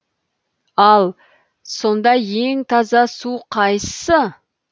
ал сонда ең таза су қайсы